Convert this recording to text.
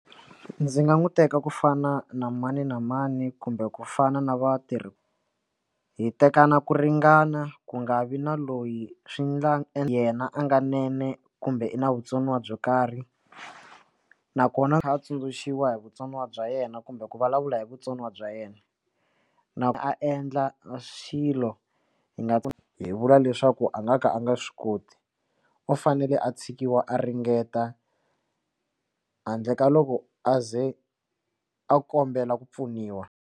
Ndzi nga n'wi teka kufana na mani na mani kumbe ku fana na vatirhi hi tekana ku ringana ku nga vi na loyi swi na yena a nga swinene kumbe i na vutsoniwa byo karhi nakona kha a tsundzuxiwa hi vutsoniwa bya yena kumbe ku vulavula hi vutsoniwa bya yena na a endla xilo hi nga hi vula leswaku a nga ka a nga swi koti u fanele a tshikiwa a ringeta handle ka loko aze a kombela ku pfuniwa.